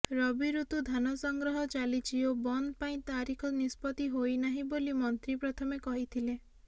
ରବି ଋତୁ ଧାନସଂଗ୍ରହ ଚାଲିଛି ଓ ବନ୍ଦ୍ ପାଇଁ ତାରିଖ ନିଷ୍ପତ୍ତି ହୋଇନାହିଁ ବୋଲି ମନ୍ତ୍ରୀ ପ୍ରଥମେ କହିଥିଲେ